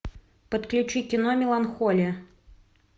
подключи кино меланхолия